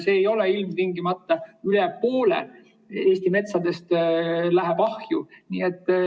See ei tähenda ilmtingimata seda, et üle poole Eesti metsast läheb ahju.